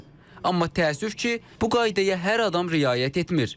Amma təəssüf ki, bu qaydaya hər adam riayət etmir.